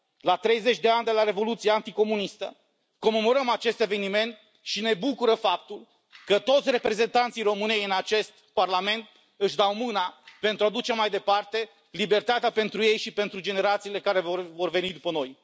La 30 de ani de la revoluția anticomunistă, comemorăm acest eveniment și ne bucură faptul că toți reprezentanții României în acest Parlament își dau mâna pentru a duce mai departe libertatea pentru ei și pentru generațiile care vor veni după noi.